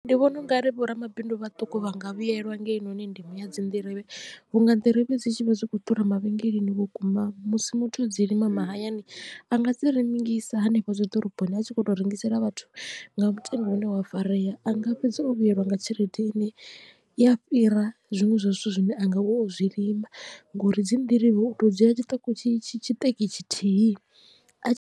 Ndi vhona ungari vhoramabindu vhaṱuku vha nga vhuyelwa nga hei noni ndimo ya dzi nḓirivhe vhu nga nḓirivhe dzi tshi vha zwi kho ḓura mavhengeleni vhukuma musi muthu o dzi lima mahayani a nga dzi rengisa hanefho dzi ḓoroboni a tshi kho to rengisela vhathu nga mutengo une wa farea anga fhedza o vhuyelwa nga tshelede i ne i a fhira zwiṅwe zwa zwithu zwine anga vha ozwi lima ngori dzi nḓirivhe u to dzula tshiṱeki tshithihi a tshi.